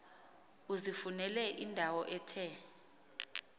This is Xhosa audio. uzifunele indawo ethe